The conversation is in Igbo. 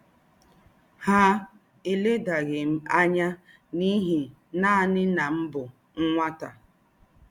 Há èlèdàghị̀ m ányà n’íhí nánị̀ na m bụ́ nwátá.